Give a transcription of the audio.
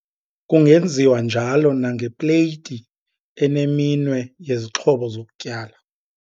Kungenziwa njalo nangepleyiti eneminwe yezixhobo zokutyala.